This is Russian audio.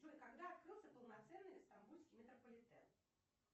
джой когда открылся полноценный стамбульский метрополитен